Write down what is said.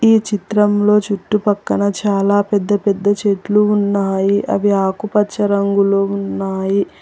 ఈ చిత్రంలో చుట్టుపక్కన చాలా పెద్ద పెద్ద చెట్లు ఉన్నాయి అవి ఆకుపచ్చ రంగులో ఉన్నాయి.